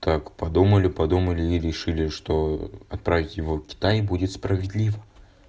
так подумали подумали и решили что отправить его в китай будет справедливо